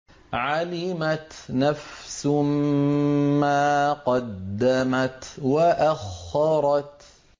عَلِمَتْ نَفْسٌ مَّا قَدَّمَتْ وَأَخَّرَتْ